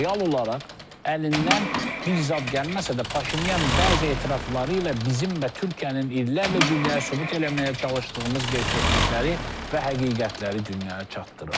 Real olaraq əlindən bir zad gəlməsə də Paşinyan bəzi etirafları ilə bizim və Türkiyənin illərlə dünyaya sübut eləməyə çalışdığımız gerçəklikləri və həqiqətləri dünyaya çatdırır.